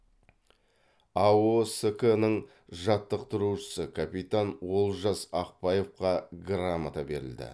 аоск ның жаттықтырушысы капитан олжас ақбаевқа грамота берілді